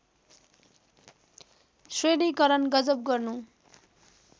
श्रेणीकरण गजब गर्नु